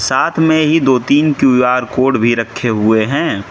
साथ में ही दो तीन क्यू_आर कोड भी रखें हुए हैं।